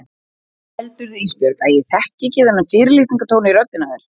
Heldurðu Ísbjörg að ég þekki ekki þennan fyrirlitningartón í röddinni á þér?